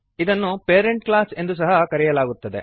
ಇದನ್ನು parent class ಎಂದು ಸಹ ಕರೆಯಲಾಗುತ್ತದೆ